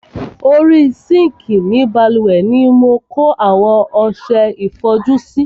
Orí sinkii ni bálùwẹ̀ ni mo kó àwọn ọsẹ ìfọjú sí.